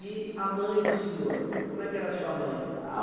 E a mãe do senhor, como é que era a sua mãe?